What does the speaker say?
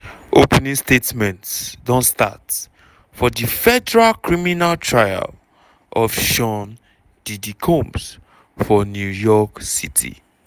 opening statements don start for di federal criminal trial of sean 'diddy' combs for new york city.